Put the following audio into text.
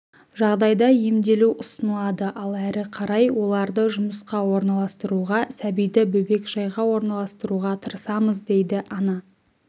жағдайда емделу ұсынылады ал әрі қарай оларды жұмысқа орналастыруға сәбиді бөбекжайға орналастыруға тырысамыз дейді ана